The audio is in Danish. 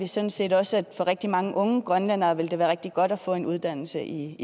sådan set også at det for rigtig mange unge grønlændere vil være rigtig godt at få en uddannelse i